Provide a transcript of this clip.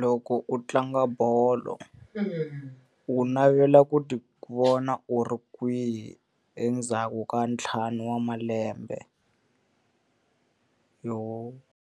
loko u tlanga bolo loko u navela ku ti vona u ri kwihi endzhaku ka ntlhanu wa malembe? .